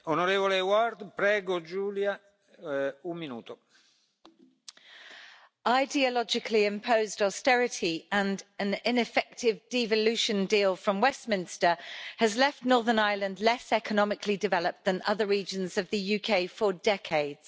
Mr President, ideologically imposed austerity and an ineffective devolution deal from Westminster have left Northern Ireland less economically developed than other regions of the UK for decades.